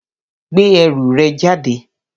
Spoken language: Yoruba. Gbé ẹrù rẹ̀ jáde.